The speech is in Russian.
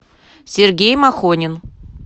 сергей махонин